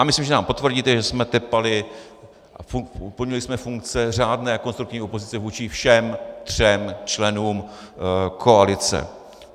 A myslím, že nám potvrdíte, že jsme tepali a plnili jsme funkce řádné konstruktivní opozice vůči všem třem členům koalice.